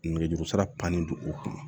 Nɛgɛjuru sira pannen don o kunna